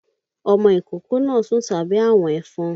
Ọmọ ìkókó náà sùn sábẹ́ àwọ̀n ẹ̀fọn